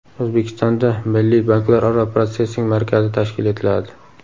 O‘zbekistonda Milliy banklararo protsessing markazi tashkil etiladi.